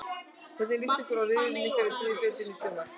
Hvernig list ykkur á riðilinn ykkar í þriðju deildinni í sumar?